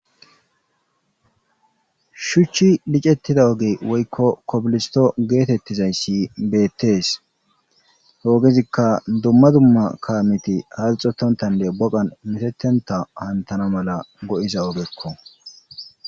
Shuchchi licettida ogey woykko kobilisto geetettizayssi beettees hoogezikka dumma dumma kaamiti halxotontande boqan metetenta hantana mala go'iza ogekko.